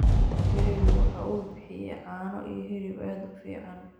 Geelu waxa uu bixiyaa caano iyo hilib aad u fiican.